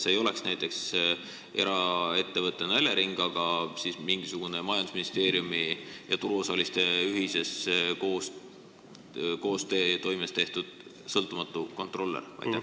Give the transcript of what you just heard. See ei oleks näiteks eraettevõte Elering, vaid mingisugune majandusministeeriumi ja turuosaliste koostöös asutatud sõltumatu kontrollija?